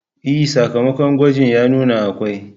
E, sakamakon gwaji ya nuna akwai